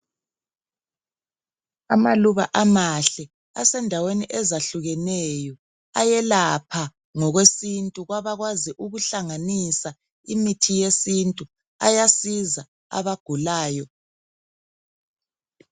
Amaluba amahle asendaweni ezahlukeneyo ayelapha ngokwesintu kwabakwazi ukuhlanganisa imithi yesintu ayasiza abagulayo.